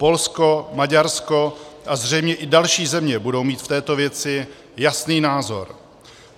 Polsko, Maďarsko a zřejmě i další země budou mít v této věci jasný názor.